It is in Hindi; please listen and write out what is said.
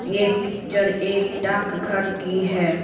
ये पिक्चर एक डार्क घर की है।